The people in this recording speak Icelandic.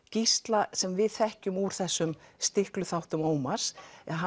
Gísla sem við þekkjum úr þessum Ómars